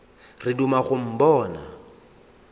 re o duma go mpona